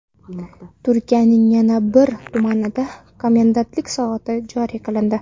Turkiyaning yana bir tumanida komendantlik soati joriy qilindi.